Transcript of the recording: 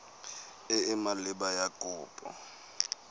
e e maleba ya kopo